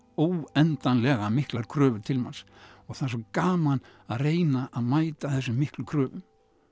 óendanlega miklar kröfur til manns og það er svo gaman að reyna að mæta þessum miklu kröfum